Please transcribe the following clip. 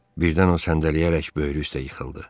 Birdən o səndələyərək böyürü üstə yıxıldı.